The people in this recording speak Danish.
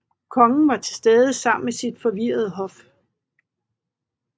Kongen var tilstede sammen med sit forvirrede hof